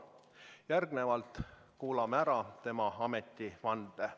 Järgnevalt kuulame ära tema ametivande.